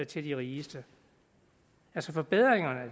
til de rigeste forbedringerne